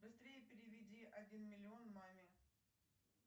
быстрее переведи один миллион маме